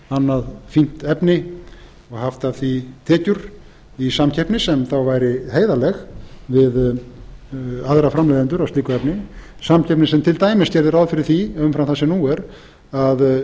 annað fínt efni og haft af því tekjur í samkeppni sem þá væri heiðarleg við aðra framleiðendur á slíku efni samkeppni sem til dæmis gerði ráð fyrir því umfram það sem nú er að